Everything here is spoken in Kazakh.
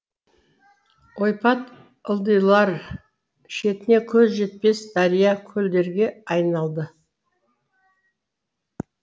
ойпат ылдилар шетіне көз жетпес дария көлдерге айналды